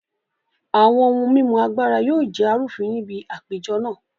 Àwọn ohun mímu Agbára yóò jẹ́ arúfin ní bi àpéjọ na